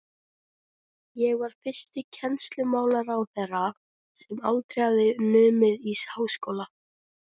Ég var fyrsti kennslumálaráðherra, sem aldrei hafði numið í háskóla.